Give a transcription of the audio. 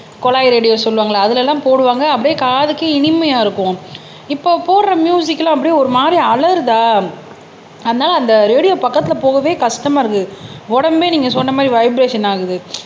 குழாய் ரேடியோ சொல்லுவாங்கல்ல அதுல எல்லாம் போடுவாங்க அப்படியே காதுக்கு இனிமையா இருக்கும் இப்போ போடுற மியூசிக் எல்லாம் அப்படியே ஒரு மாதிரி அலறுதா அதனால அந்த ரேடியோ பக்கத்துல போகவே கஷ்டமா இருக்குது உடம்பே நீங்க சொன்ன மாதிரி வைபிரேசன் ஆகுது